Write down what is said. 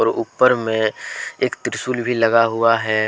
ऊपर में एक त्रिशूल भी लगा हुआ है।